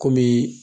Kɔmi